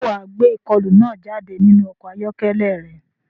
Ṣé wà á gbé ìkọlù náà jáde nínú ọkọ̀ ayọ́kẹ́lẹ́ rẹ?